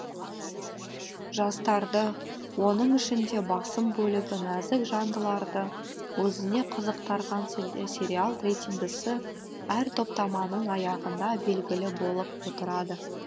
жастарды оның ішінде басым бөлігі нәзік жандыларды өзіне қызықтырған лесериал рейтингісі әр топтаманың аяғында белгілі болып отырады